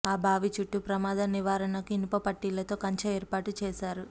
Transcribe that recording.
ఆ బావి చుట్టూ ప్రమాద నివారణకు ఇనుప పట్టీలతో కంచె ఏర్పాటు చేశారు